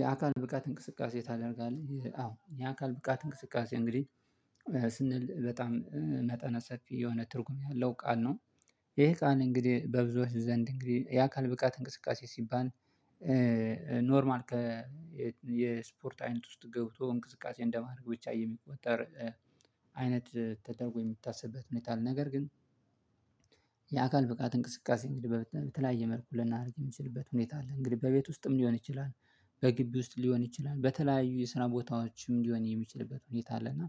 የአካል ብቃት እንቅስቃሴ ታደርጋለህ? አዎ የአካል ብቃት እንቅስቃሴ እንግዲህ ስንል በጣም መጠነ ሰፊ የሆነ ትርጉም ያለው ቃል ነው። ይህ ቃል እንግዲህ በብዙዎች ዘንድ እንግዲህ የአካል ብቃት እንቅስቃሴ ሲባል። ኖርማል ከ የስፖርት አይነት ውስጥ ገብቶ እንቅስቃሴ እንደማድረግ ብቻ የሚቆጠር አይነት ተደርጎ የሚታስብበት ሁኔታ አለ። ነገር ግን የአካል ብቃት እንቅስቃሴ እንግዲህ በተለያየ መልኩ ልናደርግ የምትችልበት ሁኔታ አለ እንግዲህ በቤት ውስጥም ሊሆን ይችላል። በግቢ ውስጥ ሊሆን ይችላል በተለያዩ የስራ ቦታዎችም ሊሆን የሚችልበት ሁኔታ አለና።